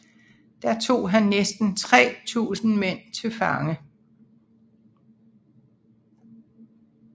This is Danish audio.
Der tog han næsten 3000 mænd til fange